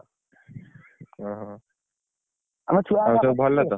ଓହୋ ସବୁ ଭଲ ତ!